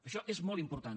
això és molt important